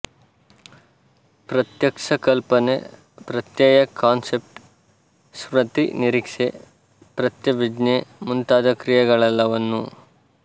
ಪ್ರತ್ಯಕ್ಷಕಲ್ಪನೆ ಪ್ರತ್ಯಯ ಕಾನ್ಸೆಪ್ಟ್ ಸ್ಮೃತಿ ನಿರೀಕ್ಷೆ ಪ್ರತ್ಯಭಿಜ್ಞೆ ಮುಂತಾದ ಕ್ರಿಯೆಗಳೆಲ್ಲವನ್ನೂ